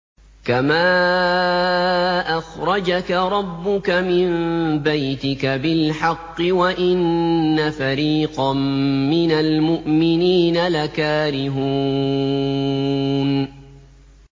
كَمَا أَخْرَجَكَ رَبُّكَ مِن بَيْتِكَ بِالْحَقِّ وَإِنَّ فَرِيقًا مِّنَ الْمُؤْمِنِينَ لَكَارِهُونَ